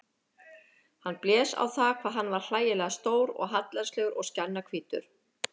Hann blés á það hvað hann var hlægilega stór og hallærislegur og skjannahvítur.